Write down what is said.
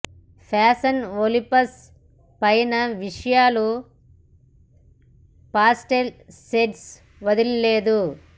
fashion Olympus పైన విషయాలు pastel shades వదిలి లేదు